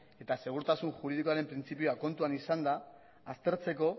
eta segurtasun juridikoaren printzipioa kontuan izanda aztertzeko